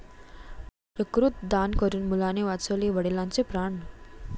यकृत दान करून मुलाने वाचवले वडिलांचे प्राण!